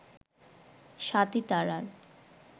স্বাতী তারার